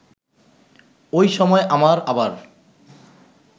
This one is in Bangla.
ওই সময় আমার আবার